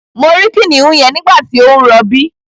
Mo rí kìnìún yẹn nígbàtí ó ń rọbí